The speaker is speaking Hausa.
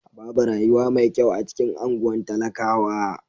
Babu rayuwa mai kyau a cikin anguwan talakawa.